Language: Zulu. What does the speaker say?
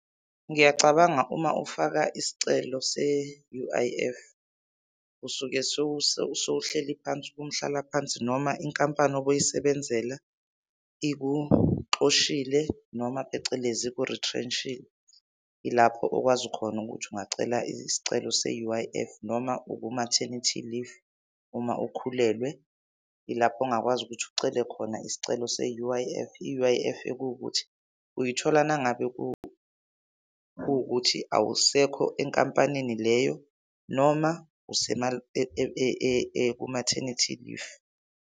Ngiyacabanga uma ufaka isicelo se-U_I_F usuke sowuhleli phansi kumhlalaphansi noma inkampani obuyisebenzela ikuxoshile noma phecelezi, iku-retrench-ile. Ilapho okwazi khona ukuthi ungacela isicelo se-U_I_F. Noma uku-maternity leave, uma ukhulelwe, ilapho ongakwazi ukuthi ucele khona isicelo se-U_I_F. I-U_I_F ekuwukuthi uyithola uma ngabe kuwukuthi awusekho enkampanini leyo noma ku-maternity leave.